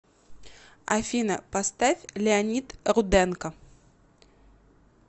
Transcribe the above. афина поставь леонид руденко